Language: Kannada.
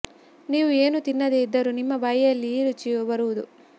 ನೀವು ಏನು ತಿನ್ನದೇ ಇದ್ದರೂ ನಿಮ್ಮ ಬಾಯಿಯಲ್ಲಿ ಈ ರುಚಿಯು ಬರುವುದು